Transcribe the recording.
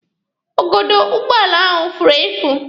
Igodo ụgbọala ahụ furu efu.